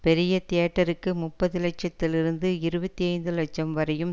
பெரிய தியேட்டருக்கு முப்பது லட்சத்திலிருந்து இருபத்தி ஐந்து லட்சம் வரையும்